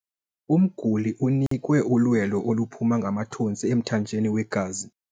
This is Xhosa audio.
Umguli unikwe ulwelo oluphuma ngamathontsi emthanjeni wegazi.